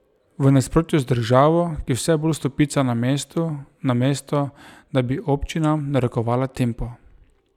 V nasprotju z državo, ki vse bolj stopica na mestu, namesto da bi občinam narekovala tempo.